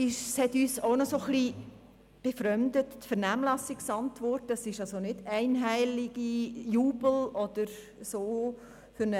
Dabei befremdet es uns, dass die erweiterten Ladenöffnungszeiten begeistert aufgenommen worden sind.